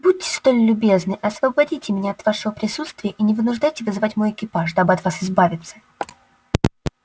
будьте столь любезны освободите меня от вашего присутствия и не вынуждайте вызывать мой экипаж дабы от вас избавиться